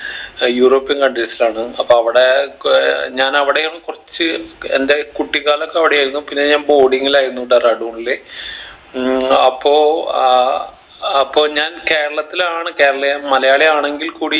ഏർ european countries ലാണ് അപ്പൊ അവിടെ കോ ഏർ ഞാൻ അവിടെയും കുറച്ച് എൻ്റെ കുട്ടികാലം ഒക്കെ അവിടെ ആയിരുന്നു പിന്നെ ഞാൻ boarding ലായിരുന്നു ഡെറാഡൂണില് ഉം അപ്പൊ അഹ് അപ്പൊ ഞാൻ കേരളത്തിലാണ് കേരളീയ മലയാളി ആണെങ്കിൽ കൂടി